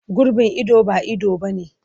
Gurbin ido ba ido ba ne.